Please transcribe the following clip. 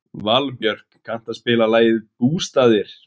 Valbjörk, kanntu að spila lagið „Bústaðir“?